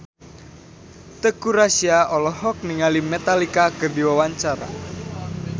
Teuku Rassya olohok ningali Metallica keur diwawancara